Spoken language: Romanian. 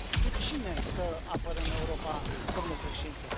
Cu cine să apărăm Europa, domnule Președinte?